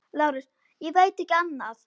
LÁRUS: Ég veit ekki annað.